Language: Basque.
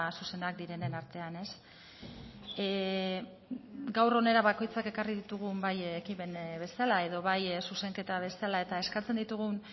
zuzenak direnen artean gaur hona bakoitzak ekarri ditugun bai ekimen bezala edo bai zuzenketa bezala eta eskatzen ditugun